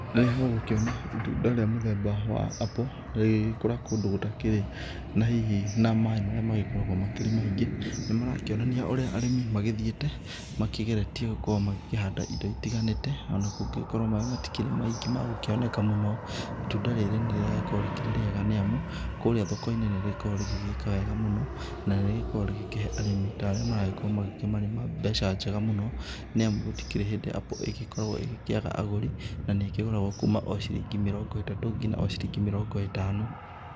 Rĩrĩa ũgũkĩona itũnda rĩa mũthemba wa apple rĩgĩkũra kũndũ gũtakĩrĩ na hihi na maĩ marĩa magĩkoragwo makĩrĩ maingĩ makĩonanĩa ũrĩa arĩmĩ magĩthiĩte makĩgeretie magĩkorwo makĩhanda indo itiganĩte ona angĩkorwo maĩ matĩkĩrĩ maingĩ mamgũkĩoneka mũno itũnda rĩrĩ nĩ rĩragĩkorwo rĩkĩrĩ rĩega nĩ amũ kũrĩa thoko inĩ nĩrĩkoragwo rĩgĩka wega mũno nĩ nĩrĩkoragwo rĩgĩkĩhe arĩmi ta arĩa maragĩkorwo magĩkĩmarĩma mbeca njega mũno nĩ amũ gũtĩkĩrĩ hĩndĩ apple ĩgĩkĩkoragwo ĩgĩkĩaga agũri na nĩ ĩkĩgũrafgwo okũma chilingi mĩrongo ĩtatũ nginya chilingi mĩlongo ĩtano.